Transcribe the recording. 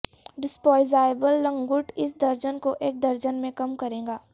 disposable لنگوٹ اس درجن کو ایک درجن میں کم کرے گا